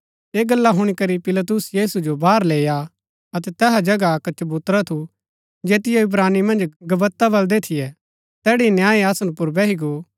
ये गल्ला हुणी करी पिलातुस यीशु जो बाहर लैईआ अतै तैहा जगह अक्क चबूतरा थू जैतियो इब्रानी मन्ज गब्बता बलदै थियै तैड़ी न्याय आसन पुर बैही गो